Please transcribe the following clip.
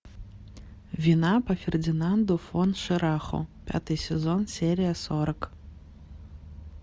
вина по фердинанду фон шираху пятый сезон серия сорок